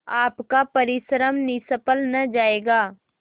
आपका परिश्रम निष्फल न जायगा